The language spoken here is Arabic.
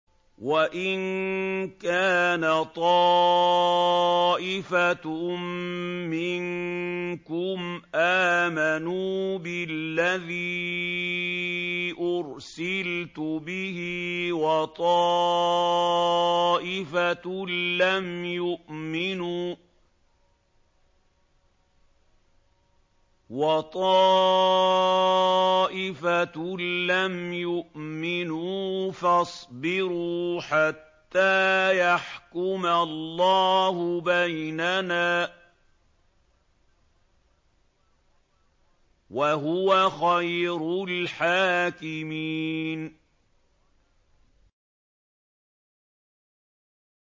وَإِن كَانَ طَائِفَةٌ مِّنكُمْ آمَنُوا بِالَّذِي أُرْسِلْتُ بِهِ وَطَائِفَةٌ لَّمْ يُؤْمِنُوا فَاصْبِرُوا حَتَّىٰ يَحْكُمَ اللَّهُ بَيْنَنَا ۚ وَهُوَ خَيْرُ الْحَاكِمِينَ